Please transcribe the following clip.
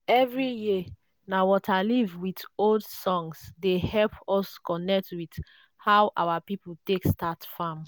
every year na waterleaf with old songs dey help us connect with how our people take start farm.